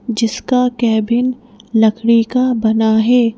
जिसका कैबिन लकड़ी का बना है।